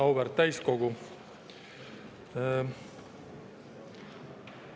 Auväärt täiskogu!